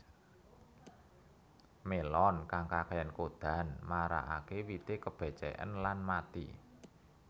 Melon kang kakéyan kodan marakaké wite kebaceken lan mati